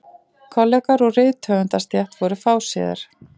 Kollegar úr rithöfundastétt voru fáséðir.